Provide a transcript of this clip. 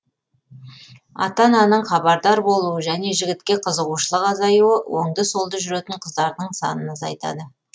ата ананың хабардар болуы және жігітке қызығушылық азаюы оңды солды жүретін қыздардың санын азайтады